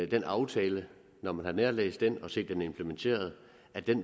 den aftale når man har nærlæst den og set den implementeret